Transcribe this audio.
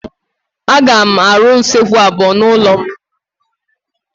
Aga m arụ usekwu abuo n'ụlọ m.